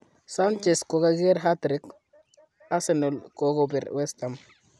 Sanchez kogakiger Hat-trick ,Arsenal kokobir West Ham.